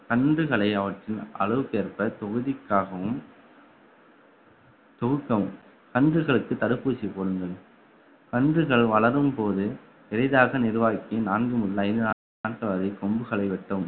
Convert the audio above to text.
கன்றுகளை அவற்றின் அளவுக்கு ஏற்ப தொகுதிக்காகவும் துவக்கம் கன்றுகளுக்கு தடுப்பூசி போடுங்கள் கன்றுகள் வளரும்போது பெரிதாக நிர்வாகிக்கு நான்கு முதல் ஐந்து நாட்கள் வரை கொம்புகளை வெட்டவும்